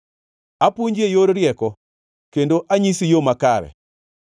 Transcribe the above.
Apuonji e yor rieko kendo anyisi yo makare.